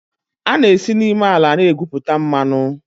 A na-esi n'ime ala na-egwupụta mmanụ.